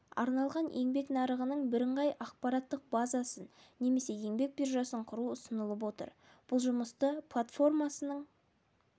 арналған еңбек нарығының бірыңғай ақпараттық базасын немесе еңбек биржасын құру ұсынылып отыр бұл жұмысты платформасының